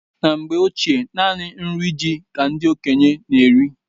Na mgbe ochie naanị nri ji ka ndị okenye n'eri